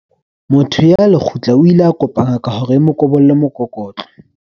Motho ya lekgutla o ile a kopa ngaka hore e mo kobolle mokokotlo.